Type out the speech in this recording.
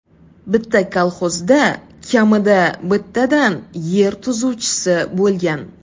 Bitta kolxozda kamida bittadan yer tuzuvchisi bo‘lgan.